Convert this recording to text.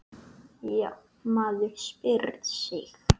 Já, maður spyr sig?